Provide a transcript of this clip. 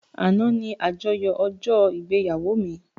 Àná ní àyájọ́ ọjọ́-ìgbéyàwó mi.